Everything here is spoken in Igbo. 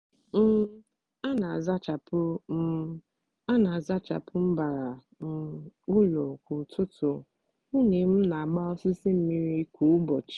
um a n'azachapụ um a n'azachapụ mbara um ụlọ kwa ụtụtụ nwunye m n'agba osisi mmiri kwa ụbọchị